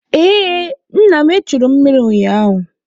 Ee, nna m echuru mụ mmiri ụnyaahụ.